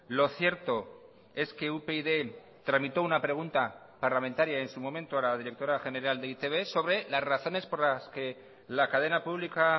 lo cierto es que upyd tramitó una pregunta parlamentaria en su momento a la directora general de e i te be sobre las razones por las que la cadena pública